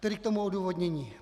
Tedy k tomu odůvodnění.